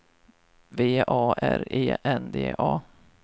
V A R E N D A